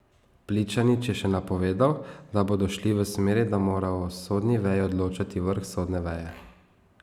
Pličanič je še napovedal, da bodo šli v smeri, da mora o sodni veji odločati vrh sodne veje.